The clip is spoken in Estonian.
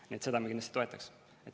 Nii et seda me kindlasti toetaks.